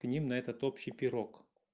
к ним на этот общий пирог